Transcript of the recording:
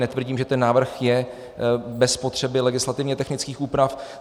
Netvrdím, že ten návrh je bez potřeby legislativně technických úprav.